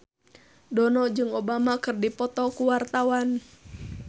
Dono jeung Obama keur dipoto ku wartawan